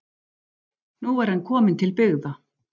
Nú er hann kominn til byggða